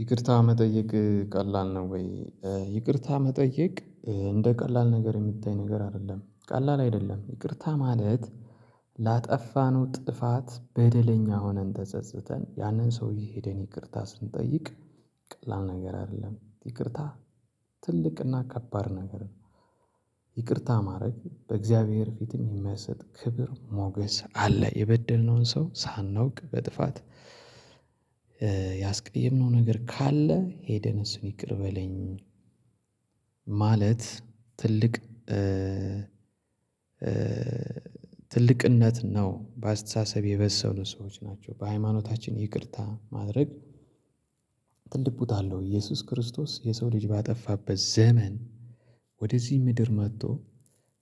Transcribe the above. ይቅርታ መጠየቅ ቀላል ነው ወይ? ይቅርታ መጠየቅ እንደ ቀላል ነገር የምታይ ነገር አይደለም ቀላል አይደለም። ይቅርታ ማለት ላጠፋነው ጥፋት በደለኛ ሆነን ተጸጽተን ያንን ሰውዬ ሄደን ይቅርታ ስንጠይቅ ቀላል ነገር አይደለም ይቅርታ። ትልቅና ከባድ ነገር ይቅርታ ማድረግ በእግዚአብሔር ፊትም የሚያሰጥ ክብር ሞገስ አለ። የበደልነውን ሰው ሳናውቅ በጥፋት ያስቀየምነው ነገር ካለ ሄደን አሱን ይቅር በለኝ ማለት ትልቅ ትልቅነት ነው። በአስተሳሰብ የበሰሉ ሰዎች ናቸው። በሃይማኖታችን ይቅርታ ማድረግ ትልቅ ቦታ አለው። ኢየሱስ ክርስቶስ የሰው ልጅ ባጠፋበት ዘመን ወደዚህ ምድር መጥቶ